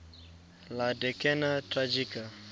la decena tragica